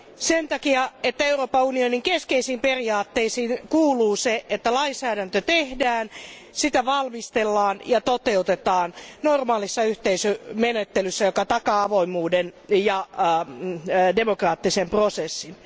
Sen takia, että Euroopan unionin keskeisiin periaatteisiin kuuluu se, että lainsäädäntö tehdään, sitä valmistellaan ja toteutetaan normaalissa yhteisömenettelyssä, joka takaa avoimuuden ja demokraattisen prosessin.